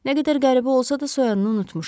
Nə qədər qəribə olsa da soyadını unutmuşam.